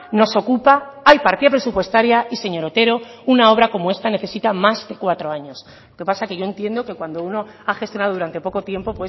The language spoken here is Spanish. nos ocupa hay partida presupuestaria y señor otero una obra como esta necesita más de cuatro años lo que pasa que yo entiendo que cuando uno ha gestionado durante poco tiempo